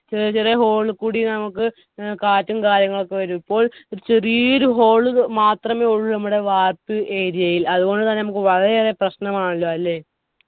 ചെറിയ ചെറിയ hole ഇല്ക്കൂടി നമ്മുക്ക് ഏർ കാറ്റും കാര്യങ്ങളൊക്കെ വരും ഇപ്പോൾ ഒരു ചെറിയൊരു hole മാത്രമേ ഉള്ളു നമ്മുടെ വാർപ്പ് area ൽ അതുപോലെതന്നെ നമ്മുക്ക് വളരെയേറെ പ്രശ്നമാണല്ലോ അല്ലെ